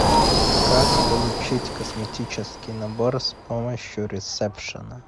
как получить косметический набор с помощью ресепшена